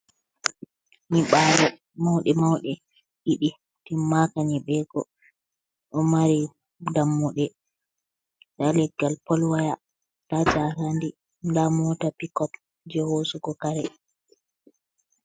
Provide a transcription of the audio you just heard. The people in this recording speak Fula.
Nyiɓaalo mauɗe mauɗe ɗiɗi, timmaka nyiɓego o mari dammuɗe, nda leggal polwaya nda jarandi, nda mota picop jei hosugo kare.